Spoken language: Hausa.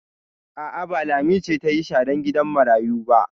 A'a, ba Lami ce ta yi sharan gidan marayu ba.